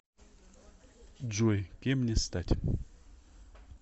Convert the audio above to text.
джой кем мне стать